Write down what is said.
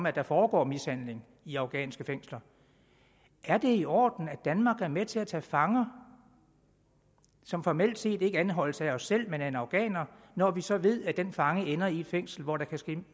at der foregår mishandling i afghanske fængsler er det i orden at danmark er med til at tage fanger som formelt set ikke anholdes af os selv men af en afghaner når vi så ved at den fange ender i et fængsel hvor der kan ske